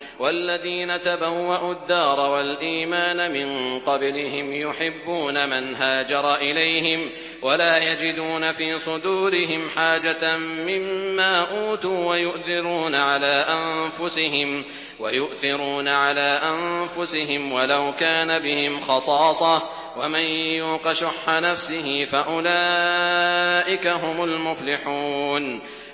وَالَّذِينَ تَبَوَّءُوا الدَّارَ وَالْإِيمَانَ مِن قَبْلِهِمْ يُحِبُّونَ مَنْ هَاجَرَ إِلَيْهِمْ وَلَا يَجِدُونَ فِي صُدُورِهِمْ حَاجَةً مِّمَّا أُوتُوا وَيُؤْثِرُونَ عَلَىٰ أَنفُسِهِمْ وَلَوْ كَانَ بِهِمْ خَصَاصَةٌ ۚ وَمَن يُوقَ شُحَّ نَفْسِهِ فَأُولَٰئِكَ هُمُ الْمُفْلِحُونَ